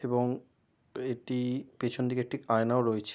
এবং এইটি পিছন দিকে আয়নায় রয়েছে।